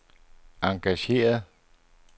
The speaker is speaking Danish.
engageret